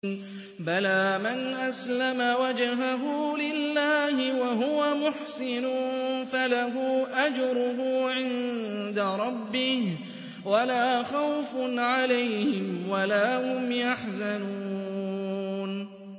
بَلَىٰ مَنْ أَسْلَمَ وَجْهَهُ لِلَّهِ وَهُوَ مُحْسِنٌ فَلَهُ أَجْرُهُ عِندَ رَبِّهِ وَلَا خَوْفٌ عَلَيْهِمْ وَلَا هُمْ يَحْزَنُونَ